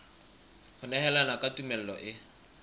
ho nehelana ka tumello e